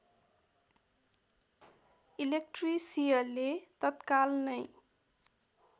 इलेक्ट्रिसियले तत्काल नै